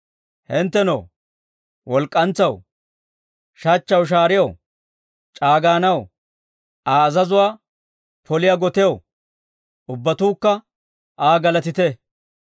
Hinttenoo, walk'k'antsaw, shachchaw, shaariyaw, c'aaganaw, Aa azazuwaa poliyaa gotiyaw, Ubbatuukka Aa galatite.